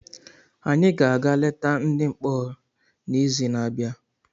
Anyị ga-aga leta ndị mkpọrọ n’izu n'abịa.